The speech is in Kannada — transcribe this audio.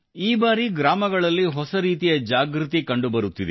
ಈ ಬಾರಿ ಗ್ರಾಮಗಳಲ್ಲಿ ಹೊಸ ರೀತಿಯ ಜಾಗೃತಿ ಕಂಡುಬರುತ್ತಿದೆ